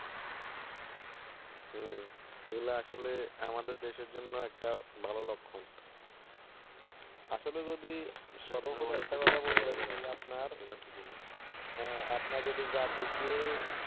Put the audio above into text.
হুম এগুলা আসলে আমাদের দেশের জন্য একটা ভালো লক্ষণ আসলে যদি সর্বোপরি একটা কথা বলি, আপনার যদি জাতিকে